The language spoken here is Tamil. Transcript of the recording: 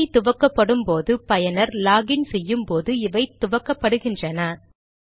கணினி துவக்கப்படும் போது பயனர் லாக் இன் செய்யும் போது இவை துவக்கப்படுகின்றன